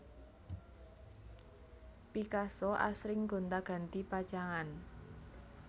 Picasso asring gonti ganti pacangan